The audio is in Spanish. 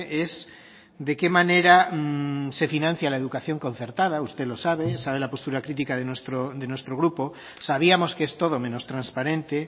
es de qué manera se financia la educación concertada usted lo sabe sabe la postura crítica de nuestro grupo sabíamos que es todo menos transparente